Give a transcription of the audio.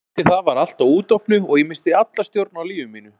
Eftir það var allt á útopnu og ég missti alla stjórn á lífi mínu.